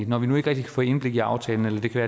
når vi nu ikke kan få indblik i aftalen eller det kan